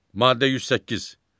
Maddə 108.